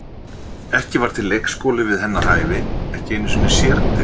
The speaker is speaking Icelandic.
Ekki var til leikskóli við hennar hæfi, ekki einu sinni sérdeild.